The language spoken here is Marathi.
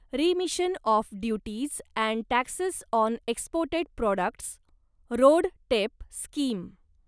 remission of duties and taxes on exported products RoDTEP scheme